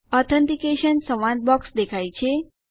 authentication સંવાદ box દેખાય છે